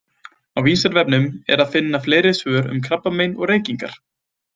Á Vísindavefnum er að finna fleiri svör um krabbamein og reykingar.